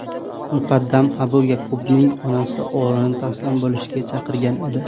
Muqaddam Abu Ya’qubning onasi o‘g‘lini taslim bo‘lishga chaqirgan edi .